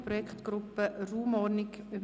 Produktgruppe Raumordnung […